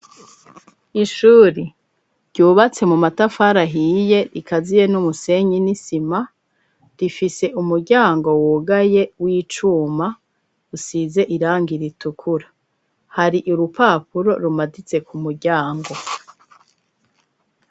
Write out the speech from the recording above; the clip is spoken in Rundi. Ishuri ryubatse mu matafari ahiye rikaziye n'umusenyi n'isima, rifise umuryango wugaye w'icuma usize irangi ritukura. Hari urupapuro rumaditse ku muryango.